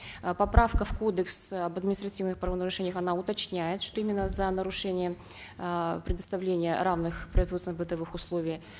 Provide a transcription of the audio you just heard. э поправка в кодекс об административных правонарушениях она уточняет что именно за нарушение э предоставления равных производственно бытовых условий